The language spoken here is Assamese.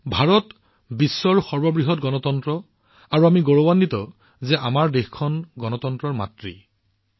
ভাৰত হৈছে বিশ্বৰ সৰ্ববৃহৎ গণতন্ত্ৰ আৰু আমি ভাৰতীয়সকলেও গৌৰৱান্বিত যে আমাৰ দেশখনক গণতন্ত্ৰৰ মাতৃ বুলিও কোৱা হয়